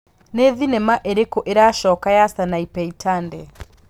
nĩ thinema ĩrĩkũ ĩracoka ya Sanapei Tande